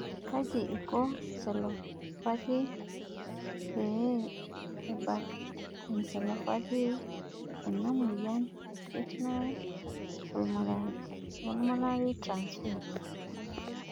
Kaji ikonencephalopathy pee ebakencephalopathy ena moyian e carnitine palmitoyltransferase